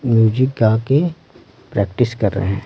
Music का के practice कर रहे हैं।